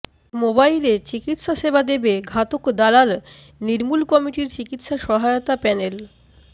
মোবাইলে চিকিৎসাসেবা দেবে ঘাতক দালাল নির্মূল কমিটির চিকিৎসা সহায়তা প্যানেল